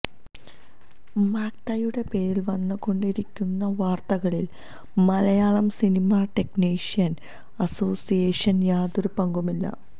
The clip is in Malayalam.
മാക്ടയുടെ പേരില് വന്നുകൊണ്ടിരിക്കുന്ന വാര്ത്തകളില് മലയാളം സിനി ടെക്നീഷ്യന്സ് അസോസിയേഷന് യാതൊരു പങ്കുമില്ല